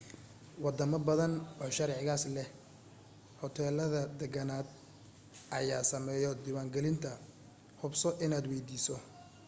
wadamo badan oo sharcigaas leh hoteelada deegaaneed ayaa sameeyo diiwan gelinta hubso inaad weydiiso